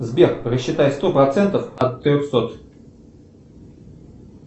сбер рассчитай сто процентов от трехсот